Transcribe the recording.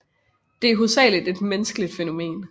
De er hovedsageligt et menneskeligt fænomen